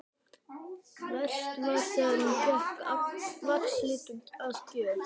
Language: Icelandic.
Verst var þegar hún fékk vaxliti að gjöf.